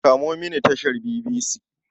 Kamo mini tashar BBC.